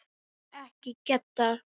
Nei, ekki Gedda.